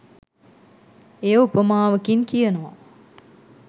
එය උපමාවකින් කියනවා